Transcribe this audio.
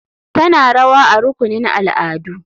Tana rawa a rukunin al'adu.